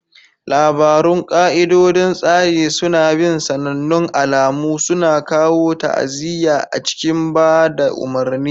Labarun ƙa'idodin tsari suna bin sanannun alamu, suna kawo ta'aziyya a cikin ba da umarni.